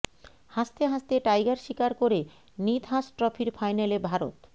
হাসতে হাসতে টাইগার শিকার করে নিদহাস ট্রফির ফাইনালে ভারত